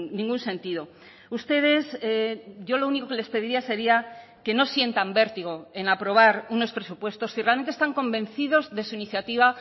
ningún sentido ustedes yo lo único que les pediría sería que no sientan vértigo en aprobar unos presupuestos si realmente están convencidos de su iniciativa